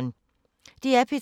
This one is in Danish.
DR P3